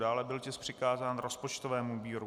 Dále byl tisk přikázán rozpočtovému výboru.